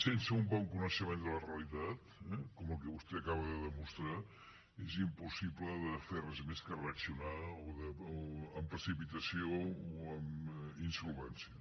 sense un bon coneixement de la realitat eh com el que vostè acaba de demostrar és impossible de fer res més que reaccionar amb precipitació o amb insolvència